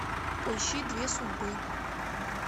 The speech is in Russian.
поищи две судьбы